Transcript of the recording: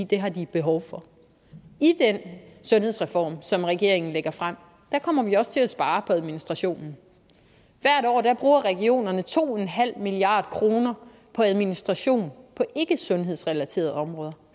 det har de behov for i den sundhedsreform som regeringen lægger frem kommer vi også til at spare på administrationen hvert år bruger regionerne to milliard kroner på administration på ikkesundhedsrelaterede områder